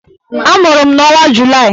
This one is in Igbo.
Amụrụ m n'ọnwa Julaị